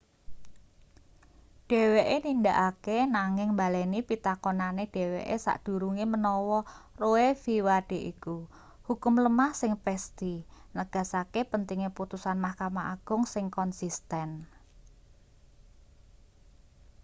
dheweke nindakake nanging mbaleni pitakonane dheweke sadurunge menawa roe.v wade iku hukum lemah sing pesthi” negasake pentinge putusan mahkamah agung sing konsisten